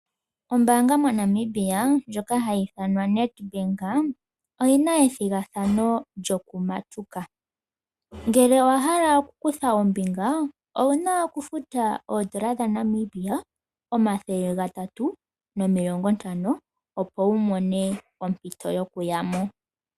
Ombaanga moNamibia ndjoka hayi ithanwa Nedbank, oyina ethigathano lyoku matuka. Ngele owa hala oku kutha ombinga, owuna oku futa oondola dha Namibia omathele gatatu nomilongo ntano opo wu mone ompito yoku yamo.